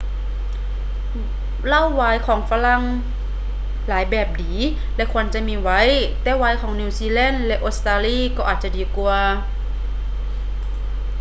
ເຫຼົ້າວາຍຂອງຝຣັ່ງຫຼາຍແບບດີ ແລະ ຄວນຈະມີໄວ້ ແຕ່ວາຍຂອງ ນີວຊີແລນ ແລະ ອົດສະຕາລີ ກໍອາດຈະດີກວ່າ